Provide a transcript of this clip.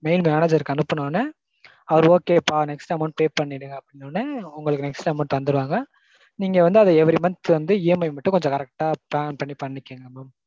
mail manager க்கு அனுப்பின உடனே அவர் okay ப்பா next amount pay பண்ணிடுங்க அப்டீன உடனே உங்களுக்கு next தந்துருவாங்க. நீங்க வந்து அது every months வந்து EMI மட்டும் கொஞ்சம் correct plan பண்ணி பண்ணிக்கோங்க mam